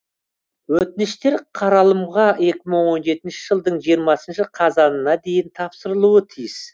өтініштер қаралымға екі мың он жетінші жылдың жиырмасыншы қазанына дейін тапсырылуы тиіс